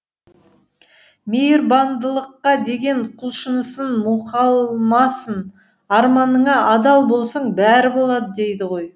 мейірбандылыққа деген құлшынысын мұқалмасын арманыңа адал болсаң бәрі болады дейді ғой